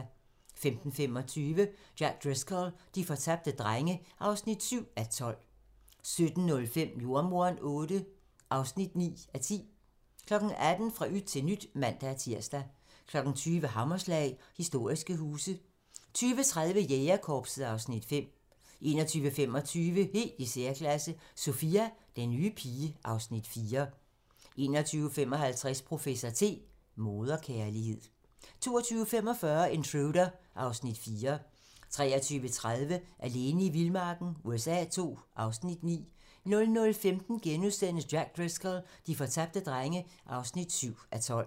15:25: Jack Driscoll - de fortabte drenge (7:12) 17:05: Jordemoderen VIII (9:10) 18:00: Fra yt til nyt (man-tir) 20:00: Hammerslag - Historiske huse 20:30: Jægerkorpset (Afs. 5) 21:25: Helt i særklasse - Sophia, den nye pige (Afs. 4) 21:55: Professor T: Moderkærlighed 22:45: Intruder (Afs. 4) 23:30: Alene i vildmarken USA II (Afs. 9) 00:15: Jack Driscoll - de fortabte drenge (7:12)*